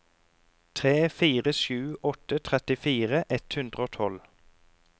tre fire sju åtte trettifire ett hundre og tolv